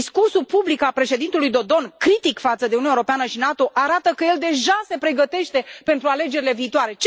Discursul public al președintelui Dodon, critic față de Uniunea Europeană și NATO, arată că el deja se pregătește pentru alegerile viitoare.